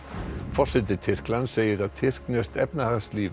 forseti Tyrklands segir að tyrkneskt efnahagslíf